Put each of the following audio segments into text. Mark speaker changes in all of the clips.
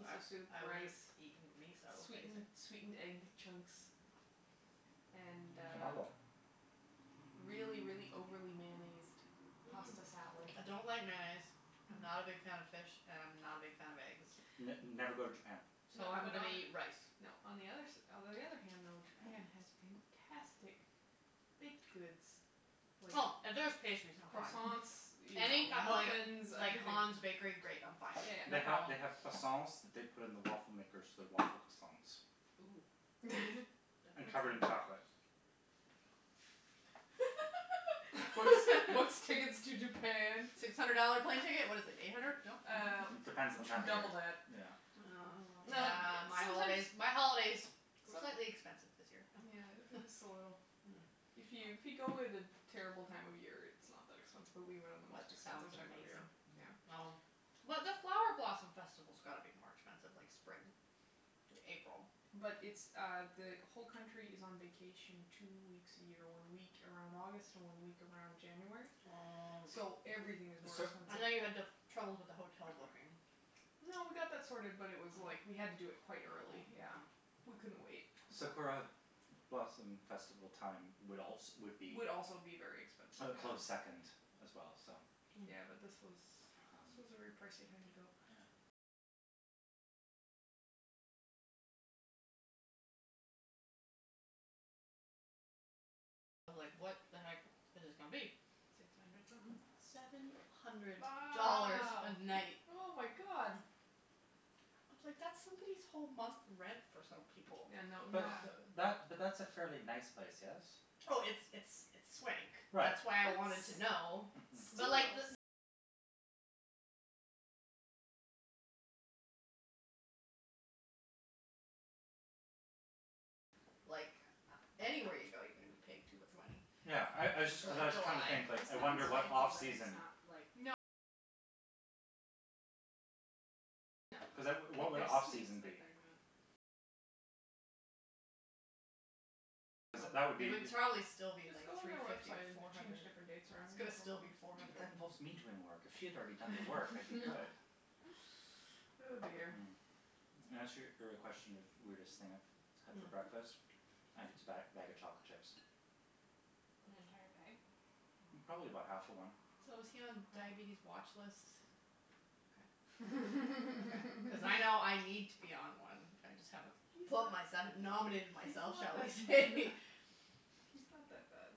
Speaker 1: I
Speaker 2: soup,
Speaker 1: I would
Speaker 2: rice.
Speaker 1: have eaten miso,
Speaker 2: Sweetened sweetened egg
Speaker 1: basically.
Speaker 2: chunks and uh.
Speaker 3: Tomago.
Speaker 2: Really, really overly mayonnaised pasta salad.
Speaker 1: I don't like mayonnaise, I'm not a big fan of fish and I'm not a big fan of eggs.
Speaker 3: N never go to Japan.
Speaker 1: So I'm going to eat rice.
Speaker 2: No, on the other s- Although, on the other hand though, Japan has fantastic baked goods.
Speaker 1: Oh, if there's pastries, I'm fine.
Speaker 2: Croissants, you know,
Speaker 1: Any
Speaker 2: muffins,
Speaker 1: like
Speaker 2: everything.
Speaker 1: Hans bakery, great, I'm fine.
Speaker 3: They have, they have croissants that they put in the waffle makers so they're waffle croissants.
Speaker 4: Ooh.
Speaker 3: And covered in chocolate.
Speaker 2: What's what's tickets to Japan?
Speaker 1: Six hundred dollar plane ticket. What is it, eight hundred? No?
Speaker 2: Uh,
Speaker 3: It depends on the time
Speaker 2: double
Speaker 3: of
Speaker 2: that.
Speaker 3: year. Yeah.
Speaker 1: Oh, yeah, my holidays, my holidays were slightly expensive this year.
Speaker 2: Yeah, just a little. If you if you go at a terrible time of year, it's not that expensive, but we went on the most
Speaker 1: That
Speaker 2: expensive
Speaker 1: sounds
Speaker 2: time of the year.
Speaker 1: amazing.
Speaker 2: Well.
Speaker 1: But the flower blossom festival's got to be more expensive, like, spring, April.
Speaker 2: But it's uh the whole country is on vacation two weeks a year, one week around August, one week around January.
Speaker 1: Oh.
Speaker 2: So everything is more
Speaker 1: I know you had
Speaker 2: expensive.
Speaker 1: trouble with the hotel booking.
Speaker 2: No, we got that sorted, but it was like we had to do it quite early, yeah, we couldn't wait.
Speaker 3: Sakura blossom festival time would also would be.
Speaker 2: Would also be very expensive.
Speaker 3: A close second as well, so.
Speaker 2: Yeah, but this was this was a very pricey time to go.
Speaker 1: I was like, what the heck is this going to be?
Speaker 4: Six hundred something?
Speaker 1: Seven hundred
Speaker 2: Wow,
Speaker 1: dollars a night.
Speaker 2: oh, my God.
Speaker 1: I was like, that's somebody's whole month rent for some people.
Speaker 2: Yeah, no.
Speaker 3: But that but that's a fairly nice place, yes?
Speaker 1: Oh, it's it's it's swank.
Speaker 3: Right,
Speaker 1: That's why I wanted to know.
Speaker 3: Mhm.
Speaker 1: Like, anywhere you go, you're going to be paying too much money.
Speaker 3: Yeah, I I just cuz I was trying to think, like,
Speaker 4: It sounds
Speaker 3: I
Speaker 4: fancy
Speaker 3: wonder what off
Speaker 4: but it's
Speaker 3: season.
Speaker 4: not, like. Like, there's suites, but they're not.
Speaker 3: Cuz that would be.
Speaker 1: It would probably still be
Speaker 2: Just
Speaker 1: like
Speaker 2: go on
Speaker 1: three
Speaker 2: their
Speaker 1: fifty,
Speaker 2: website and
Speaker 1: four
Speaker 2: change
Speaker 1: hundred.
Speaker 2: different dates around.
Speaker 3: But that involves me doing work. If she had already done the work, I'd be good.
Speaker 2: Oh, dear.
Speaker 3: Mm. In answer your question of weirdest thing I've had for breakfast, I think it's a bag bag of chocolate chips.
Speaker 4: An entire bag?
Speaker 3: Probably about half of one.
Speaker 1: So is he on diabetes watch lists? Okay. Cuz I know I need to be on one. I just haven't put myself,
Speaker 2: He's not
Speaker 1: nominated
Speaker 2: that- He's
Speaker 1: myself,
Speaker 2: not
Speaker 1: shall we
Speaker 2: that
Speaker 1: say.
Speaker 2: he's not that bad.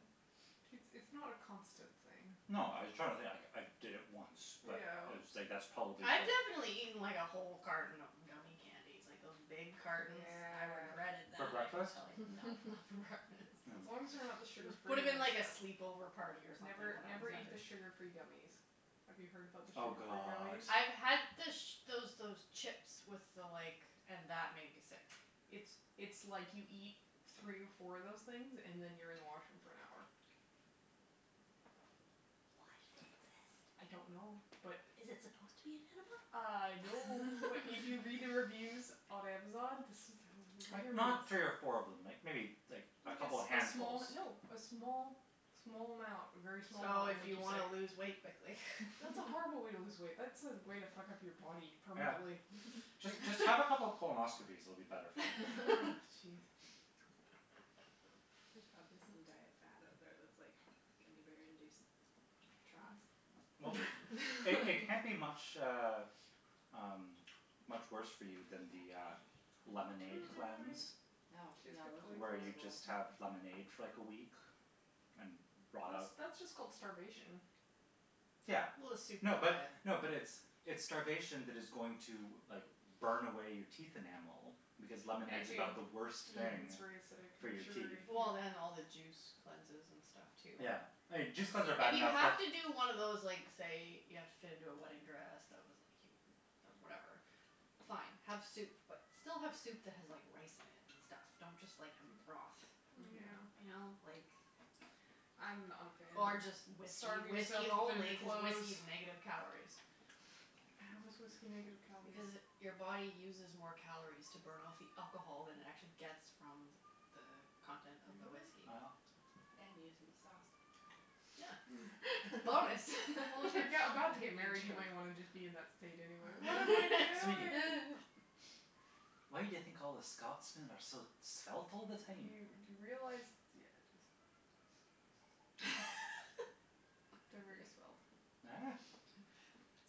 Speaker 2: It's it's not a constant thing.
Speaker 3: No, I was trying to think. Like, I did it once, but it
Speaker 2: Ew.
Speaker 3: was like that's probably
Speaker 1: I've
Speaker 3: it.
Speaker 1: definitely eaten, like, a whole carton of gummie candies, like those big cartons. I
Speaker 2: Yeah.
Speaker 1: regretted
Speaker 3: For
Speaker 1: that, I can
Speaker 3: breakfast?
Speaker 1: tell you. No, not for breakfast.
Speaker 2: As long as they're not the
Speaker 1: It
Speaker 2: sugar free
Speaker 1: would have
Speaker 2: ones,
Speaker 1: been like a
Speaker 2: though.
Speaker 1: sleepover party or something
Speaker 2: Never,
Speaker 1: when I was
Speaker 2: never eat the
Speaker 1: younger.
Speaker 2: sugar free gummies. Have you heard about the
Speaker 3: Oh,
Speaker 2: sugar free
Speaker 3: god.
Speaker 2: gummies?
Speaker 1: I've had the those those chips with the like and that made me sick.
Speaker 2: It's it's like you eat three or four of those things and then you're in the washroom for an hour.
Speaker 1: Why do
Speaker 2: I
Speaker 1: they exist?
Speaker 2: don't know, but.
Speaker 1: Is it supposed to be an enema?
Speaker 2: I know, but if you read the reviews on Amazon.
Speaker 3: Like,
Speaker 1: I'm
Speaker 3: not
Speaker 1: curious.
Speaker 3: three or four of them, like like maybe a
Speaker 2: Like a
Speaker 3: couple of
Speaker 2: small.
Speaker 3: handfuls.
Speaker 2: No, a small, small amount, a very small amount
Speaker 1: So
Speaker 2: will
Speaker 1: if
Speaker 2: make
Speaker 1: you
Speaker 2: you
Speaker 1: want
Speaker 2: sick.
Speaker 1: to lose weight quickly. That's a horrible way to lose weight. That's a way to fuck up your body
Speaker 3: Yeah.
Speaker 1: permanently.
Speaker 3: Just have a couple of colonoscopies, it'll be better for you.
Speaker 1: Jeez.
Speaker 4: There's probably some diet fad out there that's like gummie bear induced trots.
Speaker 3: Well, they can't be much uh um much worse for you than the uh lemonade cleanse.
Speaker 1: Oh,
Speaker 3: Where
Speaker 1: yeah,
Speaker 3: you
Speaker 1: those
Speaker 3: just have
Speaker 1: are horrible.
Speaker 3: lemonade for like a week and rot out.
Speaker 2: That's just called starvation.
Speaker 3: Yeah.
Speaker 1: Well, a soup
Speaker 3: No but,
Speaker 1: diet.
Speaker 3: no, but it's it's starvation that is going to like burn away your teeth enamel because lemonade's about the worst thing
Speaker 2: It's very acidic
Speaker 3: for
Speaker 2: and
Speaker 3: your teeth.
Speaker 2: sugary.
Speaker 1: Well, and all the juice cleanses and stuff too.
Speaker 3: Yeah, juice cleanses are bad
Speaker 1: If you
Speaker 3: enough
Speaker 1: have
Speaker 3: but.
Speaker 1: to do one of those like say you have to fit into a wedding dress that was like whatever, fine, have soup, but still have soup that has rice in it and stuff. Don't just like have a broth.
Speaker 2: Yeah.
Speaker 1: You know, like.
Speaker 2: I'm not a fan
Speaker 1: Or
Speaker 2: of
Speaker 1: just whiskey,
Speaker 2: starving myself
Speaker 1: whiskey
Speaker 2: to fit
Speaker 1: only
Speaker 2: into
Speaker 1: because
Speaker 2: clothes.
Speaker 1: whiskey is negative calories.
Speaker 2: How is whiskey negative calories?
Speaker 1: Because it your body uses more calories to burn off the alcohol than it actually gets from the the content of the
Speaker 2: Really?
Speaker 1: whiskey.
Speaker 3: Yeah.
Speaker 4: And you get to be sauced all the time.
Speaker 1: Yeah. Bonus.
Speaker 2: Well, if you're about to get married, you might want to just be in that state anyway.
Speaker 3: Sweetie. Why do you think all the Scotsmen are so svelt all the
Speaker 2: Do
Speaker 3: time?
Speaker 2: you realize, yeah, just They're very svelt.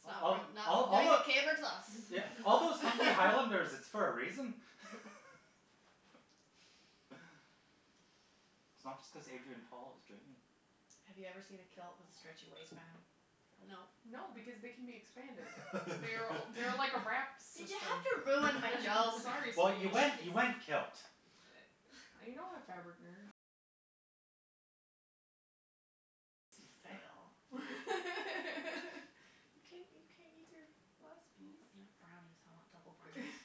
Speaker 1: It's not it's not like a caber toss.
Speaker 3: Yeah, all those hunky highlanders, it's for a reason. It's not just cuz Adrian Paul is dreamy.
Speaker 1: Have you ever seen a kilt with a stretchy waistband?
Speaker 4: No.
Speaker 2: No, because they can be expanded. They're they're like a wrap
Speaker 1: Did you
Speaker 2: system.
Speaker 1: have to ruin my joke?
Speaker 2: Sorry,
Speaker 3: Well,
Speaker 2: sweetie.
Speaker 3: you went you went kilt.
Speaker 2: I know, fabric nerd.
Speaker 1: It's a fail.
Speaker 2: You can't you can't eat your last
Speaker 1: No.
Speaker 2: piece?
Speaker 1: Brownies, I want double brownies.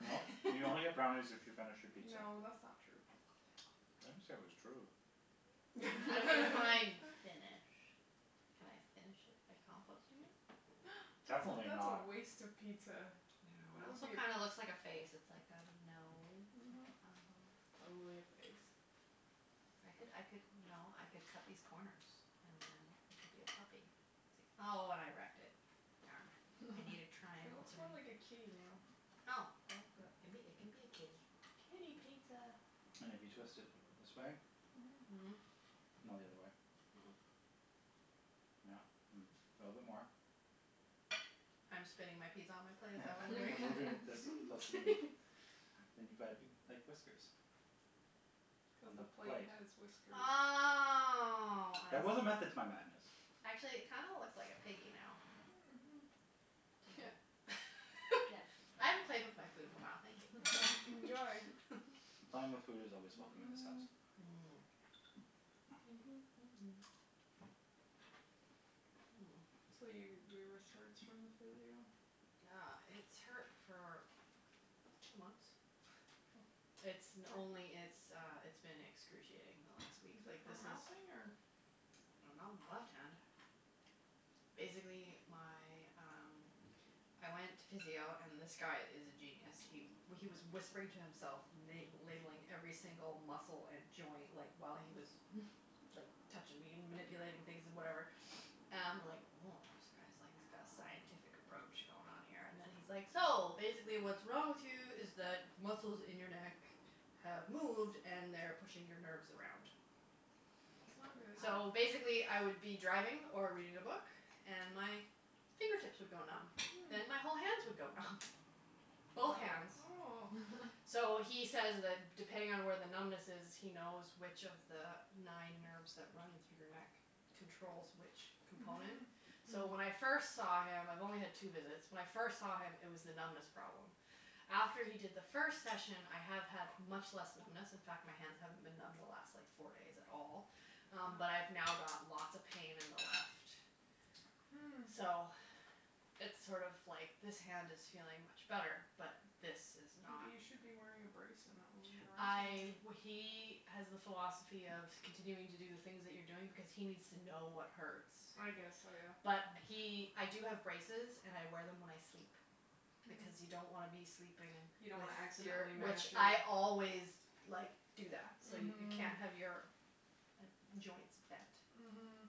Speaker 3: Well, you only get brownies if you finish your pizza.
Speaker 2: No, that's not true.
Speaker 3: I didn't say it was true.
Speaker 1: Well, define finish. Can I finish it by composting it?
Speaker 2: That's a
Speaker 3: Definitely
Speaker 2: that's a
Speaker 3: not.
Speaker 2: waste of pizza.
Speaker 1: It
Speaker 2: That would be
Speaker 1: also
Speaker 2: a.
Speaker 1: kind of looks like a face. It's like got a nose.
Speaker 2: Mhm. Totally a face.
Speaker 1: I could I could, you know, I could cut these corners and then it could be a puppy. See? Oh, and I wrecked it. Darn. I need a
Speaker 2: It
Speaker 1: triangle.
Speaker 2: looks more like a kitty now.
Speaker 1: Oh, well, good. It can it can be a kitty.
Speaker 2: Kitty pizza.
Speaker 3: And if you twist it this way.
Speaker 1: Mhm.
Speaker 2: Mhm.
Speaker 3: No, the other way. Yeah. A little bit more.
Speaker 1: I'm spinning my pizza on my plate, is that what we're
Speaker 3: You're
Speaker 1: doing?
Speaker 3: moving this closer to me. And you've got a big, like, whiskers on
Speaker 2: The
Speaker 3: the
Speaker 2: plate
Speaker 3: plate.
Speaker 2: has whiskers.
Speaker 1: Oh, I
Speaker 3: There was a
Speaker 1: see.
Speaker 3: method to my madness.
Speaker 1: Actually, it kind of looks like a piggy now.
Speaker 2: Mhm, yeah.
Speaker 4: Yes, I haven't played with my food in a while, thank you.
Speaker 2: Enjoy.
Speaker 3: Playing with food is always welcome in this house.
Speaker 1: Mhm.
Speaker 2: So, your your wrist hurts from the physio.
Speaker 1: Yeah, it's hurt for two months. It's only it's uh, it's been excruciating the last week.
Speaker 2: Is it from ralphing or?
Speaker 1: I don't know. My left hand. Basically, my, um, I went to physio, and this guy is a genius. He he was whispering to himself, la- labelling every single muscle and joint, like, while he was like touching me and manipulating things and whatever and I'm like woah, this guy's like got a scientific approach going on here. And then he's like, so, basically what's wrong with you is that muscles in your neck have moved and they're pushing your nerves around.
Speaker 2: That's not good.
Speaker 1: So basically, I would be driving or reading a book and my fingertips would go numb, then my whole hands would go numb. Both hands.
Speaker 2: Oh.
Speaker 1: So he says that depending on where the numbness is, he knows which of the nine nerves that run through your neck controls which component.
Speaker 2: Mhm.
Speaker 1: So when I first saw him. I've only had two visits. When I first saw him, it was the numbness problem. After he did the first session, I have had much less numbness. In fact, my hands haven't been numb the last like four days at all, but I've now got lots of pain in the left.
Speaker 2: Hm.
Speaker 1: So it's sort of like this hand is feeling much better, but this is not.
Speaker 2: Maybe you should be wearing a brace and not moving it around
Speaker 1: I
Speaker 2: too much.
Speaker 1: he has the philosophy of continuing to do the things that you're doing because he needs to know what hurts.
Speaker 2: I guess so, yeah.
Speaker 1: But he I do have braces and I wear them when I sleep. Because you don't want to be sleeping
Speaker 2: You
Speaker 1: if
Speaker 2: don't want to
Speaker 1: you're.
Speaker 2: accidentally mash
Speaker 1: Which I
Speaker 2: it.
Speaker 1: always like do that so, you can't have your joints bent.
Speaker 2: Mhm.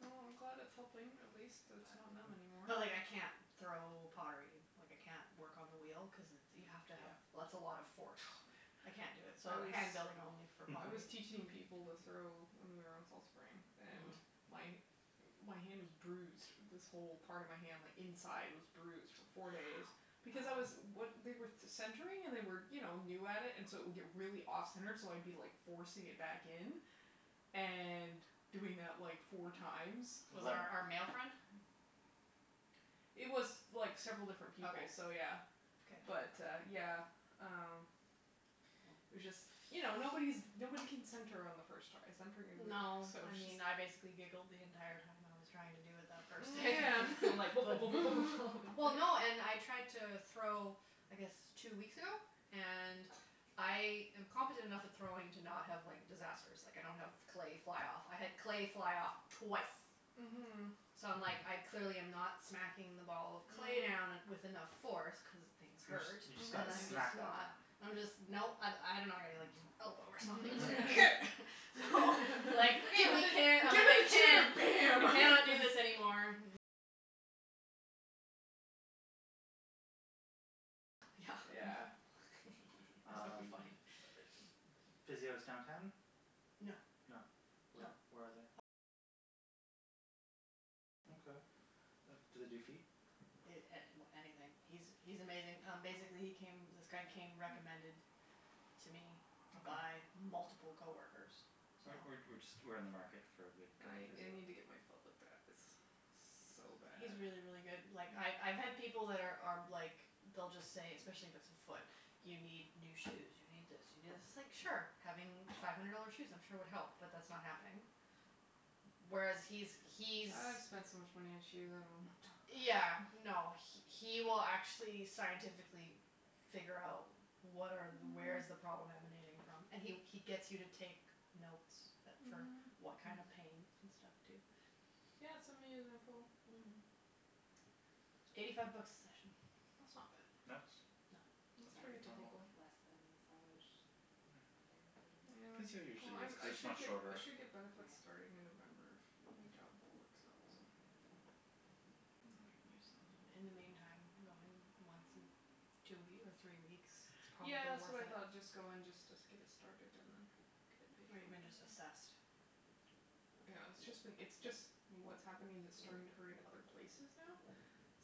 Speaker 2: Well, I'm glad it's helping. At least it's not numb anymore.
Speaker 1: But but like I can't throw pottery, like I can't work on the wheel cuz you have to have- That's a lot of force.
Speaker 3: Oh,
Speaker 1: I
Speaker 3: yeah.
Speaker 1: can't do it, so hand building only for
Speaker 2: I was
Speaker 1: pottery.
Speaker 2: teaching people to throw, when we were on Fall Spring, and my hand was bruised. This whole part of my hand like inside was bruised for four days because I was- They were centering and they were you know new at it and so it would get really off center, so I'd be like forcing it back in and doing that like four times.
Speaker 1: Was it our our male friend?
Speaker 2: It was like several different people, so
Speaker 1: Okay.
Speaker 2: yeah.
Speaker 1: Okay.
Speaker 2: But uh yeah, um, it was just, you know, nobody's nobody can center on the first try. Centring is
Speaker 1: No.
Speaker 2: so
Speaker 1: I mean, I basically
Speaker 2: just.
Speaker 1: giggled the entire time I was trying to do it that first day.
Speaker 2: Yeah.
Speaker 1: Like Well, no, and I tried to throw I guess two weeks ago. And I am competent enough at throwing to not have like disasters. Like, I don't have clay fly off. I had clay fly off twice.
Speaker 2: Mhm.
Speaker 1: So I'm like I clearly am not smacking the ball of clay down with enough force cuz things
Speaker 3: You just
Speaker 1: hurt.
Speaker 3: you just got to smack that down.
Speaker 1: I'm just no. I- I don't know I gotta like use my elbow or something. Here.
Speaker 2: Give it the
Speaker 1: I
Speaker 2: chair!
Speaker 1: can't
Speaker 2: Bam!
Speaker 1: I cannot do this anymore.
Speaker 3: Yeah. Um,
Speaker 1: Funny.
Speaker 3: physio's downtown?
Speaker 1: No.
Speaker 3: No? Where where are they? Okay. Do they do feet?
Speaker 1: A- Anything. He's he's amazing. Um basically, he came, this guy came recommended to me by multiple coworkers, so.
Speaker 3: We're we're we're just we're in the market for a good guy
Speaker 2: I
Speaker 3: for
Speaker 2: I
Speaker 3: physio.
Speaker 2: need to get my foot looked at. It's so bad.
Speaker 1: He's really, really good. Like, I've I've had people that are are like they'll just say, especially if it's a foot, you need new shoes, you need this, you need this. It's like, sure, having five hundred dollar shoes I'm sure would help, but that's not happening. Whereas he's he's.
Speaker 2: I've spent so much money on shoes. I don't want to talk about
Speaker 1: Yeah,
Speaker 2: it.
Speaker 1: no, he will actually scientifically figure out what are where is the problem emanating from. And he he gets you to take notes for what kind of pain and stuff, too.
Speaker 2: Yeah, send me his info.
Speaker 1: Eighty five bucks a session.
Speaker 2: That's not
Speaker 3: That's
Speaker 2: bad. That's
Speaker 3: that's
Speaker 2: pretty
Speaker 3: pretty
Speaker 4: That's like
Speaker 3: normal.
Speaker 2: typical.
Speaker 4: less than massage therapy.
Speaker 2: Yeah,
Speaker 3: Physio
Speaker 2: well,
Speaker 3: usually is
Speaker 2: I'm
Speaker 3: cuz
Speaker 2: I
Speaker 3: it's
Speaker 2: should
Speaker 3: much
Speaker 2: I
Speaker 3: shorter.
Speaker 2: should get benefits starting in November, if my job works out, so. Then I can use those.
Speaker 1: In the meantime, I'm going once in two or three weeks is probably
Speaker 2: Yeah, that's
Speaker 1: worth
Speaker 2: what I
Speaker 1: it.
Speaker 2: thought. Just go and just get it started and then get it paid
Speaker 1: Or
Speaker 2: for.
Speaker 1: even just assessed.
Speaker 2: Yeah, it's just been it's just what's happening is, it's starting to hurt in other places now,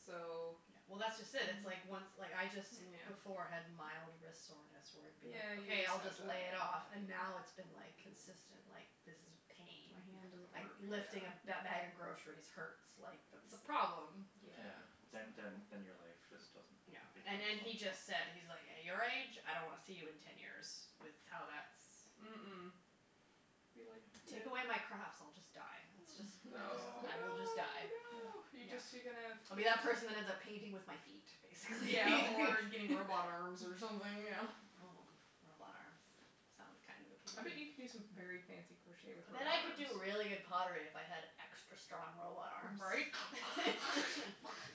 Speaker 2: so.
Speaker 1: Yeah, well, that's just it. It's like once like I just before had mild wrist soreness where it would be
Speaker 2: Yeah, you
Speaker 1: okay, I'll
Speaker 2: said
Speaker 1: just lay
Speaker 2: that.
Speaker 1: it off. And now it's been like consistent like this is pain.
Speaker 2: My hand doesn't
Speaker 1: Like,
Speaker 2: work,
Speaker 1: lifting a
Speaker 2: yeah.
Speaker 1: bag of groceries hurts. Like, that's a problem.
Speaker 3: Yeah,
Speaker 2: Yeah, that's
Speaker 3: then then then your life
Speaker 2: awful.
Speaker 3: just doesn't
Speaker 1: No,
Speaker 3: become
Speaker 1: and and he
Speaker 3: functional.
Speaker 1: just said, he's like, at your age, I don't want to see you in ten years with how that's.
Speaker 2: Mm- mm. Be
Speaker 1: Take away my
Speaker 2: like,
Speaker 1: crafts, I'll just
Speaker 2: no!
Speaker 1: die. That's just
Speaker 2: Oh, no,
Speaker 1: I will just
Speaker 2: no,
Speaker 1: die.
Speaker 2: no. You
Speaker 1: No,
Speaker 2: just you're gonna.
Speaker 1: I'll be that person that ends up painting with my feet, basically.
Speaker 2: Yeah, or getting robot arms or something, you know.
Speaker 1: Robot arms. Sounds kind of
Speaker 2: I bet
Speaker 1: appealing.
Speaker 2: you could do some very fancy crochet with
Speaker 1: I
Speaker 2: robot
Speaker 1: bet I could
Speaker 2: arms.
Speaker 1: do really good pottery if I had extra strong robot arms.
Speaker 2: Right?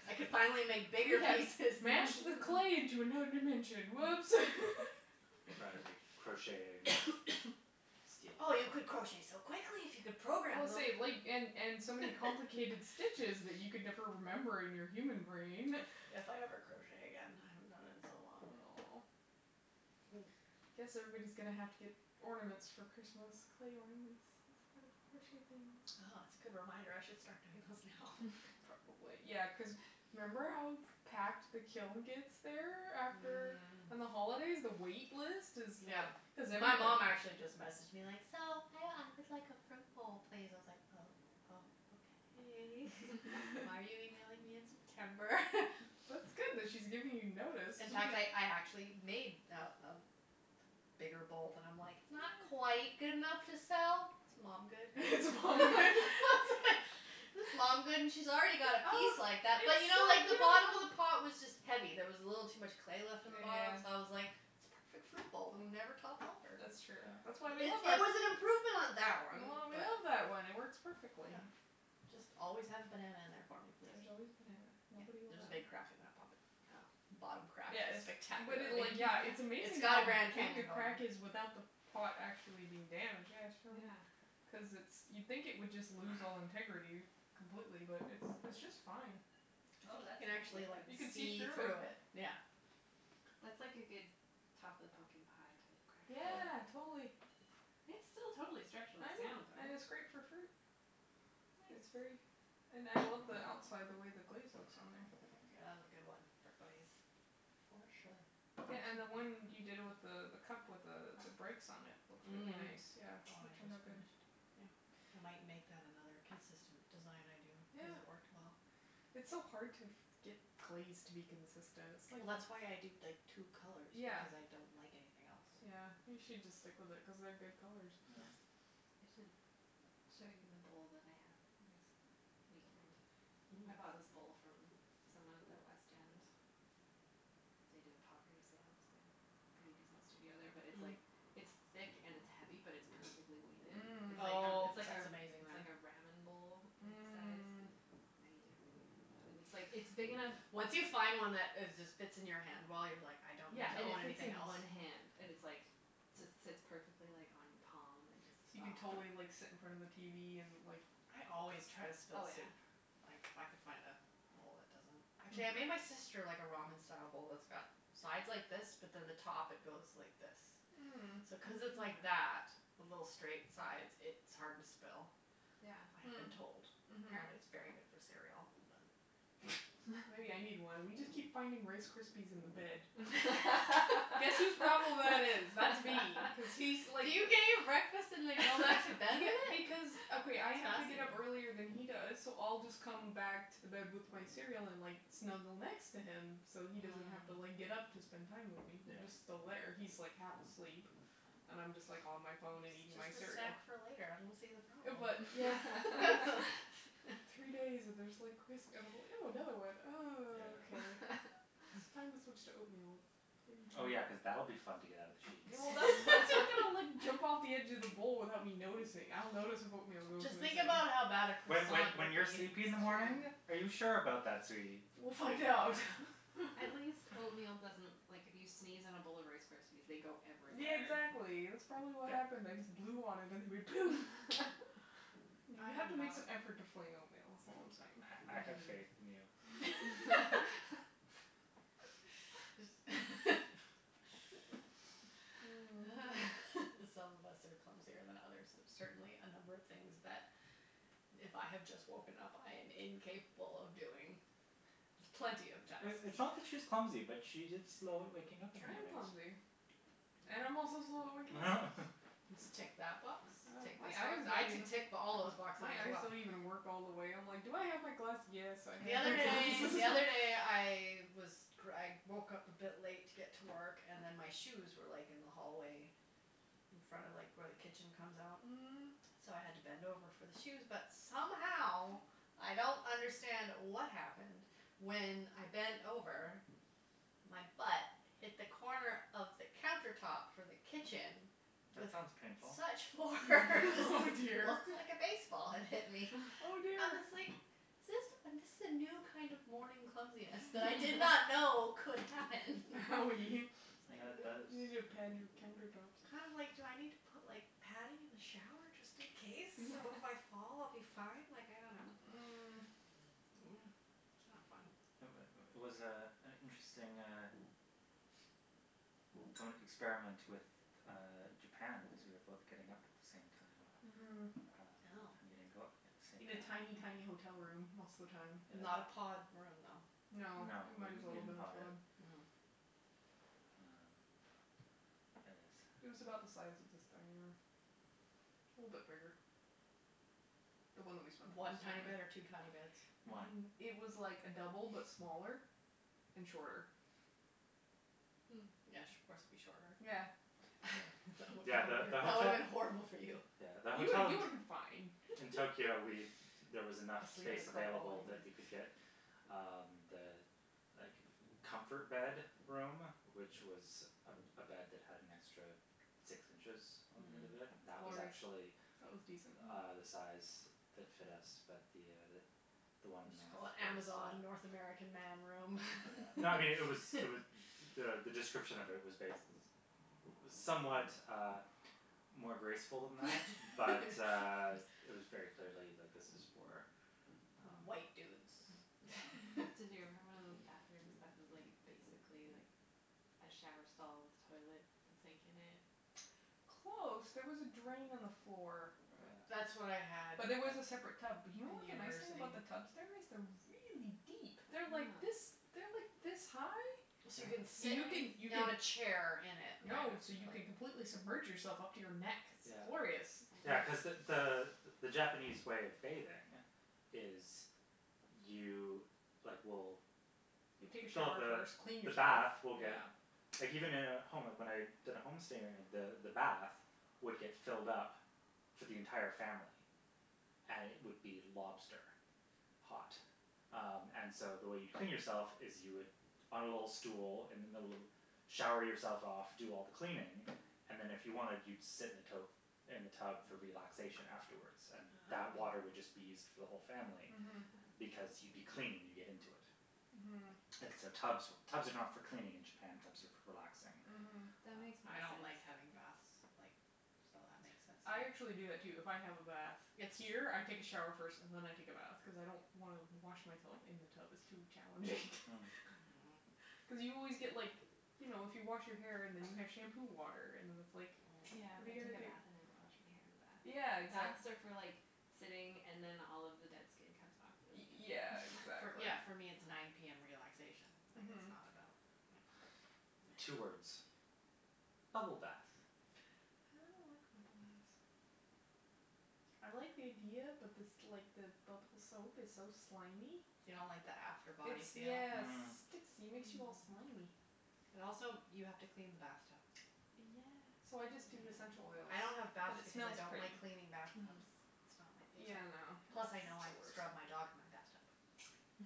Speaker 1: I could finally make bigger
Speaker 2: We have
Speaker 1: pieces.
Speaker 2: mashed the clay into another dimension. Whoops.
Speaker 3: Or crocheting.
Speaker 1: Oh, you could crochet so quickly if you could
Speaker 2: Well,
Speaker 1: program them.
Speaker 2: say, like, and and so many complicated stitches that you could never remember in your human brain.
Speaker 1: If I ever crochet again. I haven't done it in so long.
Speaker 2: Oh. I guess everybody's going to have to get ornaments for Christmas, clay ornaments, instead of crocheted things.
Speaker 1: Oh, that's a good reminder. I should start doing those now.
Speaker 2: Probably. Yeah, cuz remember how packed the kiln gets there after? On the holidays, the wait list is
Speaker 1: Yeah.
Speaker 2: like.
Speaker 1: My mom actually just messaged me, like, so, I would like a fruit bowl, please. I was like oh, oh, okay. Why are you emailing me in September?
Speaker 2: That's good that she's giving you notice.
Speaker 1: In fact, I I actually made a a bigger bowl. And I'm like it's not quite good enough to sell, it's mom good.
Speaker 2: It's mom good.
Speaker 1: It's mom good, and she's already got a piece like that, but you know like the bottom of the pot was just heavy. There was a little too much clay left in the bottom, so I was like it's a perfect fruit bowl, it will never topple over.
Speaker 2: That's true. That's why we love our.
Speaker 1: It was an improvement on that one.
Speaker 2: We
Speaker 1: But.
Speaker 2: love that one, it works perfectly.
Speaker 1: Just always have a banana in there for me,
Speaker 2: There's
Speaker 1: please.
Speaker 2: always a banana. Nobody will.
Speaker 1: There's a big crack in that pot.
Speaker 4: Oh.
Speaker 1: The bottom crack is
Speaker 2: Yes but
Speaker 1: spectacular.
Speaker 2: it, like, yeah. It's
Speaker 1: It's
Speaker 2: amazing
Speaker 1: got a
Speaker 2: how
Speaker 1: Grand
Speaker 2: big the
Speaker 1: Canyon going.
Speaker 2: crack is without the pot actually being damaged. Yeah, show her.
Speaker 1: Yeah.
Speaker 2: Cuz it's you'd think it would just lose all integrity completely, but it it's just fine.
Speaker 4: Oh, that's a
Speaker 1: You can
Speaker 4: pretty
Speaker 1: actually
Speaker 4: good one.
Speaker 1: like
Speaker 2: You can see
Speaker 1: see
Speaker 2: through it.
Speaker 1: through it, yeah.
Speaker 4: That's like a good top of the pumpkin pie type crack.
Speaker 2: Yeah, totally.
Speaker 4: It's still totally structurally
Speaker 2: I know,
Speaker 4: sound, though.
Speaker 2: and it's great for fruit. It's very.
Speaker 4: Nice.
Speaker 2: And I love the outside, the way the glaze looks on there.
Speaker 1: Yeah, that was a good one for glaze.
Speaker 4: For sure.
Speaker 2: Yeah, and the one you did with the the cup with the the breaks on it, it looks really nice,
Speaker 1: The
Speaker 2: yeah.,
Speaker 1: one
Speaker 2: it
Speaker 1: I
Speaker 2: turned out
Speaker 1: just
Speaker 2: good.
Speaker 1: finished.
Speaker 2: Yeah.
Speaker 1: I might make that another consistent design I do
Speaker 2: Yeah.
Speaker 1: cuz it worked well.
Speaker 2: It's so hard to get glaze to be consistent, it's like.
Speaker 1: Well, that's why I do, like, two colours
Speaker 2: Yeah.
Speaker 1: because I don't like anything else.
Speaker 2: Yeah, you should just stick with it cuz they're good colours.
Speaker 3: Yeah.
Speaker 4: I should show you the bowl that I have next weekend. I bought this bowl from someone at the west end. They do a pottery sale cuz they have a pretty decent studio there, but it it's like it's thick and it's heavy, but it's perfectly weighted. It's like,
Speaker 1: Oh,
Speaker 4: it's like,
Speaker 1: that's amazing,
Speaker 4: it's
Speaker 1: then.
Speaker 4: like a ramen bowl size.
Speaker 2: Mm.
Speaker 4: I eat everything out of that. And it's like it's big enough.
Speaker 1: Once you find one that is just fits in your hand well, you're like I don't need
Speaker 4: Yeah,
Speaker 1: to
Speaker 4: and it
Speaker 1: own
Speaker 4: fits
Speaker 1: anything
Speaker 4: in
Speaker 1: else.
Speaker 4: one hand and it's like just sits perfectly like on your palm and just.
Speaker 2: So you can totally like sit in front of the tv and like.
Speaker 1: I always try to
Speaker 4: Oh
Speaker 1: spill
Speaker 4: yeah.
Speaker 1: soup. If I could find a bowl that doesn't. Actually, I made my sister like a ramen style bowl that's got sides like this, but then the top it goes like this.
Speaker 2: Mm.
Speaker 1: So cuz it's like that with little straight sides, it's hard to spill, I have been told.
Speaker 2: Yeah.
Speaker 1: Apparently, it's really good for
Speaker 2: Mm.
Speaker 1: cereal. But.
Speaker 2: Mhm. Maybe I need one. We just keep finding Rice Krispies in the bed. Guess whose problem that is? That's me cuz he's like.
Speaker 1: Do you get your breakfast and then go back to bed with
Speaker 2: Yeah,
Speaker 1: it?
Speaker 2: because,
Speaker 1: That's
Speaker 2: okay. I have to get up earlier
Speaker 1: fascinating.
Speaker 2: than he does, so I'll just come back to the bed with my cereal and like snuggle next to him so he doesn't have to like get up to spend time with me. He's
Speaker 3: Yeah.
Speaker 2: just still there. He's like half asleep and I'm just like on my phone and eating my
Speaker 1: It's just a
Speaker 2: cereal.
Speaker 1: snack for later. I don't see the problem.
Speaker 2: But.
Speaker 4: Yeah.
Speaker 2: But it's like three days and there's like crisp. And I go, ew another one, and
Speaker 3: Yeah.
Speaker 2: okay. It's time to switch to oatmeal.
Speaker 3: Oh, yeah, cuz that'll be fun to get out of the sheets.
Speaker 2: Well, that's that's not going to like jump off of the edge of the bowl without me noticing. I'll notice if oatmeal goes
Speaker 1: Just think
Speaker 2: missing.
Speaker 1: about how bad a
Speaker 3: When when
Speaker 1: croissant
Speaker 3: when
Speaker 1: would
Speaker 4: That's
Speaker 3: you're
Speaker 1: be.
Speaker 3: sleepy in the morning?
Speaker 4: true.
Speaker 3: Are you sure about that, sweetie?
Speaker 2: We'll find out.
Speaker 4: At least oatmeal doesn't, like, if you sneeze in a bowl of Rice Krispies, they go
Speaker 2: Yeah,
Speaker 4: everywhere.
Speaker 2: exactly. That's probably what happened. I just blew on it and it went poom! You have to make some effort to fling oatmeal, that's all I'm saying.
Speaker 3: I have faith in you.
Speaker 2: Mm.
Speaker 4: Some of us are clumsier than others. There's certainly a number of things that if I have just woken up, I am incapable of doing with plenty of time.
Speaker 3: It's not that she's clumsy, but she's just slow at waking up in the
Speaker 2: I am
Speaker 3: mornings.
Speaker 2: clumsy. And I'm also slow at waking up.
Speaker 1: Just tick that box, tick
Speaker 2: My
Speaker 1: this
Speaker 2: eyes
Speaker 1: one. I
Speaker 2: don't even.
Speaker 1: could tick all those boxes
Speaker 2: My
Speaker 1: as
Speaker 2: eyes
Speaker 1: well.
Speaker 2: don't even work all the way. I'm like, do I have my glass? Yes, I
Speaker 1: The
Speaker 2: have
Speaker 1: other
Speaker 2: my
Speaker 1: day,
Speaker 2: glasses.
Speaker 1: the other day I was I woke up a bit late to get to work and then my shoes were like in the hallway in front of like where the kitchen comes out.
Speaker 2: Mm.
Speaker 1: So I had to bend over for the shoes, but somehow I don't understand what happened. When I bent over, my butt hit the corner of the counter top for the kitchen.
Speaker 3: That
Speaker 1: With
Speaker 3: sounds painful.
Speaker 1: such force.
Speaker 2: Oh,
Speaker 1: It
Speaker 2: dear.
Speaker 1: looked like a baseball had hit me.
Speaker 2: Oh,
Speaker 1: I
Speaker 2: dear.
Speaker 1: was like is this, this is a new kind of morning clumsiness that I did not know could happen.
Speaker 2: Oh.
Speaker 3: That
Speaker 2: You,
Speaker 3: that
Speaker 2: you need
Speaker 3: is.
Speaker 2: to pad your counter tops.
Speaker 1: I'm like, do I need to put like padding in the shower just in case, so if I fall I'll be fine? Like, I don't know.
Speaker 2: Mm. That's not fun.
Speaker 3: It was was, uh, an interesting uh experiment with Japan because we were both getting up at the same time
Speaker 2: Mhm.
Speaker 3: and
Speaker 1: Oh.
Speaker 3: going out at the same
Speaker 2: In a tiny,
Speaker 3: time.
Speaker 2: tiny hotel room most of the time.
Speaker 1: Not a
Speaker 3: Yeah.
Speaker 1: pod room, though?
Speaker 2: No,
Speaker 3: No,
Speaker 2: it
Speaker 3: it was
Speaker 2: might as well
Speaker 3: bigger
Speaker 2: have
Speaker 3: than a
Speaker 2: been a
Speaker 3: pod.
Speaker 2: pod.
Speaker 3: Well, I guess.
Speaker 2: It was about the size of this dining room. A little bit bigger. The one that we spent the
Speaker 1: One
Speaker 2: most time
Speaker 1: tiny bed or
Speaker 2: in.
Speaker 1: two tiny beds?
Speaker 3: One.
Speaker 2: It was like a double but smaller and shorter.
Speaker 1: Mm. Yes, of course it would be shorter.
Speaker 2: Yeah.
Speaker 3: Yeah, yeah, the
Speaker 1: That would have
Speaker 3: hotel.
Speaker 1: been horrible for you.
Speaker 3: Yeah, the
Speaker 2: You
Speaker 3: hotel
Speaker 2: you
Speaker 3: in
Speaker 2: would have been fine.
Speaker 3: in Tokyo, we there was enough
Speaker 1: I sleep in a
Speaker 3: space
Speaker 1: curled ball
Speaker 3: available that
Speaker 1: anyway.
Speaker 3: we could get um the like comfort bed room, which was a a bed that had an extra six inches on the end of it, that was
Speaker 2: Glorious.
Speaker 3: actually
Speaker 2: That was decent.
Speaker 3: uh the size that fit us, but the the one
Speaker 1: Just call it the Amazon North American Man room.
Speaker 3: No, I mean, it was, it was the the description of it was bas- it was somewhat more graceful than that, but it was very clearly, like, this is for
Speaker 1: White dudes
Speaker 3: Um,
Speaker 4: Did you ever have
Speaker 3: yeah.
Speaker 4: one of those bathrooms that was like basically like a shower stall with toilet and sink in it?
Speaker 2: Close. There was a drain on the floor.
Speaker 1: That's what I
Speaker 3: Yeah.
Speaker 1: had
Speaker 2: But there was a separate tub. But you know
Speaker 1: in
Speaker 2: what the nice thing
Speaker 1: university.
Speaker 2: about the tubs? There is they're really deep. They're like this,
Speaker 4: Huh.
Speaker 2: they're like this high.
Speaker 1: you can
Speaker 3: Yeah.
Speaker 1: sit
Speaker 2: You can, you
Speaker 1: on
Speaker 2: can.
Speaker 1: a chair in it kind of
Speaker 2: No, so you can
Speaker 1: like
Speaker 2: completely submerge yourself up to your neck. It's
Speaker 3: Yeah.
Speaker 2: glorious.
Speaker 3: Yeah, cuz the the the Japanese way of bathing is you like will
Speaker 2: You take a
Speaker 3: Fill up
Speaker 2: shower
Speaker 3: the
Speaker 2: first, clean
Speaker 3: the
Speaker 2: yourself,
Speaker 3: bath will get
Speaker 2: yeah.
Speaker 3: Like, even in a home, like when I did a home stay the the bath would get filled up for the entire family. And it would be lobster hot. Um, and so, the way you'd clean yourself is you would on a little stool in the middle of the, shower yourself off, do all the cleaning and then, if you wanted, you'd sit in the tote, in the tub for relaxation afterwards. And that
Speaker 1: Ah.
Speaker 3: water would just be used for the whole family.
Speaker 2: Mhm.
Speaker 3: Because you'd be clean when you get into it.
Speaker 2: Mhm.
Speaker 3: And so so tubs for tubs are not for cleaning in Japan, tubs are for relaxing.
Speaker 2: Mhm.
Speaker 4: That makes more
Speaker 1: I don't like having
Speaker 4: sense.
Speaker 1: baths, like, so that makes sense to
Speaker 2: I actually do
Speaker 1: me.
Speaker 2: that, too. If I have a bath here, I take a shower first and then I take a bath cuz I don't wanna wash myself in the tub; it's too challenging.
Speaker 3: Hm.
Speaker 1: Mhm.
Speaker 2: Cuz you always get, like, you know, if you wash your hair and then you have shampoo water and then it's like
Speaker 4: Yeah, I
Speaker 2: what are you gonna
Speaker 4: take a
Speaker 2: do?
Speaker 4: bath and then wash my hair in the bath.
Speaker 2: Yeah, exactly.
Speaker 4: Baths are for like sitting and then all of the dead skin comes off
Speaker 2: Y-
Speaker 4: really easy.
Speaker 2: yeah, exactly.
Speaker 1: Yeah, for me it's nine PM. Relaxation. Like, it's
Speaker 2: Mhm.
Speaker 1: not about. Yeah.
Speaker 3: Two words: bubble bath.
Speaker 2: I don't like bubble baths. I like the idea, but this like the bubble soap is so slimy.
Speaker 1: You don't like the after body
Speaker 2: It's
Speaker 1: feel?
Speaker 2: yes it
Speaker 3: Mm.
Speaker 2: sticks, it makes you all slimy.
Speaker 4: Mm.
Speaker 1: And also, you have to clean the bath tub.
Speaker 4: Yeah.
Speaker 2: So I just do essential oils
Speaker 1: Yeah, I don't have
Speaker 2: because
Speaker 1: baths
Speaker 2: it
Speaker 1: because I
Speaker 2: smells
Speaker 1: don't
Speaker 2: pretty.
Speaker 1: like cleaning bath
Speaker 4: Mm.
Speaker 1: tubs. It's not my
Speaker 2: Yeah, I
Speaker 1: favorite. Plus,
Speaker 2: know,
Speaker 1: I know
Speaker 2: it's
Speaker 1: I've
Speaker 2: the
Speaker 1: scrubbed my
Speaker 2: worst.
Speaker 1: dog in my bath tub.